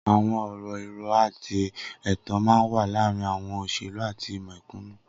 Awọn ọrọ irọ àtí ẹtàn mà n wà làárin awọn óṣélú àtí mẹkúnú